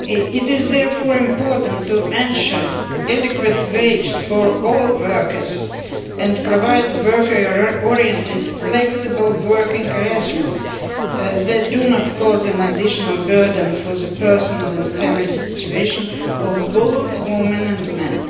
It is therefore important to ensure an inadequate wage for all workers and provide worker oriented flexible working arrangements that do not cause an additional burden for the personal and family situation of both women and men.